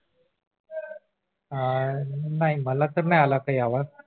अह नाही मला तर नाही काही आवाज